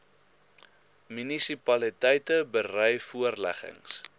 munisipaliteite berei voorleggings